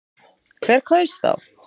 Hver kaus þá?